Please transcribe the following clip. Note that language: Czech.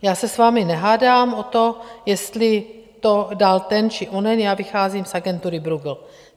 Já se s vámi nehádám o to, jestli to dal ten či onen, já vycházím z agentury Bruegel.